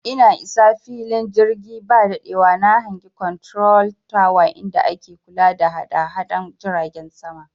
I sa na fili jirgi ba daɗewa na hangi konturol tawa inda ake kula da hadahadan jiragen sama